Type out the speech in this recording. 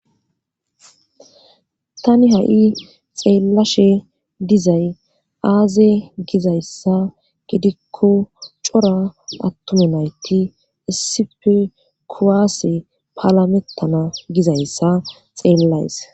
tani ha7i xeellashe dizay aaze gizayssa gidikko cora attuma nayti essipe kuwase paalamettana gizayssa xeellays